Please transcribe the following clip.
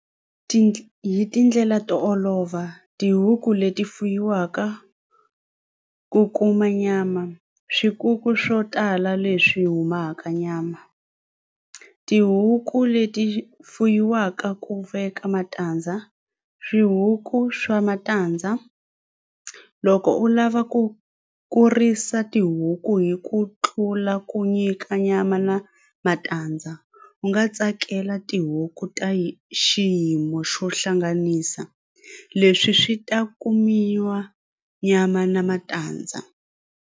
Ti hi tindlela to olova tihuku leti fuyiwaka ku kuma nyama swikuku swo tala leswi humaka nyama tihuku leti fuyiwaka ku veka matandza swihuku swa matandza loko u lava ku kurisa tihuku hi ku tlula ku nyika nyama na matandza u nga tsakela tihuku ta xiyimo xo hlanganisa leswi swi ta kumiwa nyama na matandza.